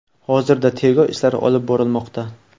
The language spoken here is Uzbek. Hozirda tergov ishlari olib borilmoqda.